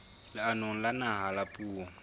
leanong la naha la puo